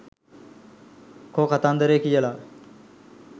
කෝ කතන්දරේ කියලා.